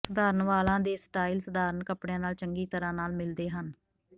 ਸਧਾਰਣ ਵਾਲਾਂ ਦੇ ਸਟਾਈਲ ਸਧਾਰਨ ਕੱਪੜਿਆਂ ਨਾਲ ਚੰਗੀ ਤਰ੍ਹਾਂ ਨਾਲ ਮਿਲਦੇ ਹਨ